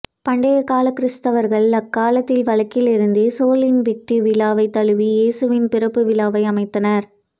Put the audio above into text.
பண்டைக் காலக் கிறித்தவர்கள் அக்காலத்தில் வழக்கிலிருந்த சோல் இன்விக்டி விழாவைத் தழுவி இயேசுவின் பிறப்புவிழாவை அமைத்தனர்